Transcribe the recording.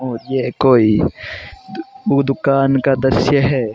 और ये कोई दुकान का दृश्य है।